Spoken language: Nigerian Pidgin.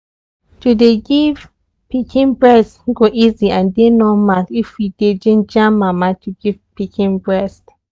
to dey give pikin breast e go easy and dey normal if we dey ginja mama to give pikin breast